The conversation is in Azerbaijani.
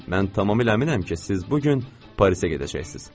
Mən tamamilə əminəm ki, siz bu gün Parisə gedəcəksiz.